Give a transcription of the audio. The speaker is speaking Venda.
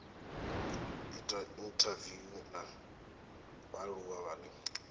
ita inthaviwu na vhaaluwa vhane